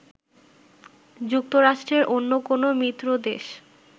যুক্তরাষ্ট্রের অন্য কোনো মিত্র দেশ